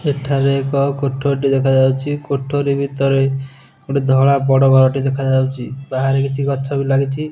ଏଠାରେ ଏକ କୋଠୋରି ଟେ ଦେଖାଯାଉଚି। କୋଠୋରି ଭିତରେ ଗୋଟେ ଧଳା ବଡ଼ ଘରଟେ ଦେଖାଯାଉଚି। ବାହାରେ କିଛି ଗଛ ବି ଲାଗିଚି।